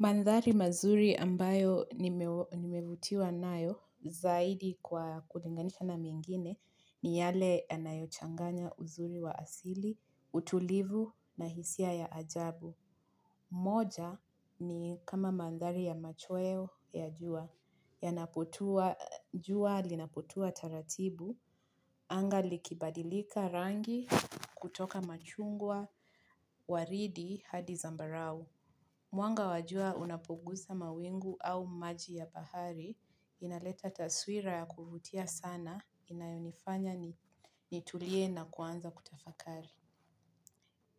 Mandhari mazuri ambayo nimevutiwa nayo zaidi kwa kulinganisha na mengine ni yale anayochanganya uzuri wa asili, utulivu na hisia ya ajabu. Moja ni kama mandhari ya machweo ya jua yanapotua. Jua linaputua taratibu, anga likibadilika rangi kutoka machungwa waridi hadi zambarau. Mwanga wa jua unapunguza mawingu au maji ya bahari, inaleta taswira ya kuvutia sana, inanifanya nitulie na kuanza kutafakari.